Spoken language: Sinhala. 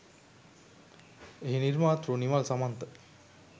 එහි නිර්මාතෘ නිමල් සමන්ත